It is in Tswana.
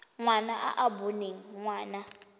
ngwana e e boneng ngwana